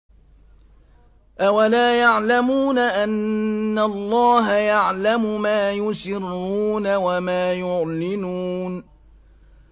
أَوَلَا يَعْلَمُونَ أَنَّ اللَّهَ يَعْلَمُ مَا يُسِرُّونَ وَمَا يُعْلِنُونَ